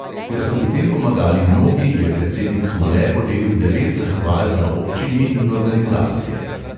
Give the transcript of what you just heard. Ker so pri tem pomagali mnogi, je predsednik smole podelil devet zahval za občini in organizacije.